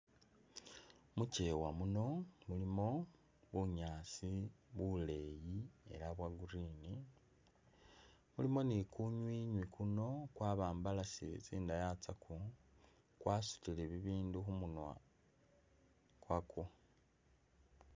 Mukyeewa muno mulimo bunyaasi buleyi ela bwo green mulimo ni kunywinywi kuno kwabambalasile tsindaya tsakwo kwasutile bibindu kumunwa kwago.